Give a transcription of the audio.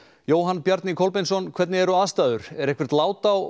Jóhann Bjarni Kolbeinsson hvernig eru aðstæður er eitthvert lát á